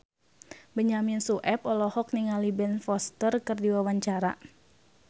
Benyamin Sueb olohok ningali Ben Foster keur diwawancara